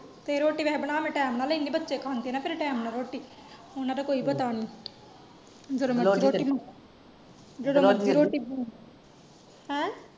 ਤੇ ਰੋਟੀ ਵੈਸੇ ਬਣਾ ਮੈਂ ਟਾਈਮ ਨਾਲ ਲਈ ਏ, ਬੱਚੇ ਖਾਂਦੇ ਆਣਾ ਫੇਰ ਟਾਈਮ ਨਾਲ ਰੋਟੀ, ਓਹਨਾ ਦਾ ਕੋਈ ਪਤਾ ਨੀ ਹੈਂ?